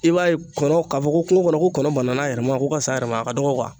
I b'a ye kɔnɔ ka fɔ ko kungo kɔnɔ ko kɔnɔ banana a yɛrɛ ma ko ka s'a yɛrɛ ma a ka dɔgɔ kuwa